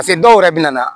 dɔw yɛrɛ bɛ na